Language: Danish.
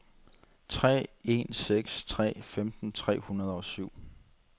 tre en seks tre femten tre hundrede og syv